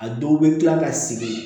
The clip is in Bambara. A dɔw bɛ kila ka segin